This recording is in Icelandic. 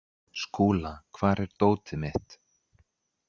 Skúla, hvar er dótið mitt?